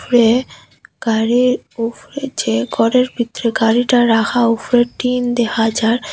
উপরে গাড়ির উফরে যে ঘরের ভিতরে গাড়িটা রাখা উফরে টিন দেখা যার।